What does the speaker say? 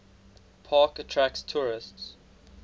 park attract tourists